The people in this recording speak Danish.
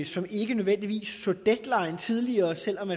som ikke nødvendigvis så deadline tidligere selv om